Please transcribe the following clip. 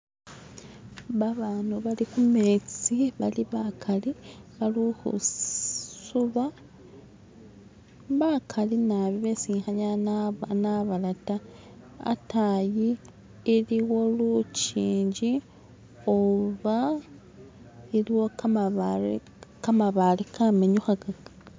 Babana bali kumetsi balibakhali bali khusuba bakali nabi besi khanyala nabala ta hatayi iliwo lujinji oba iliwo kamabaale kamabaale kamenyukhaga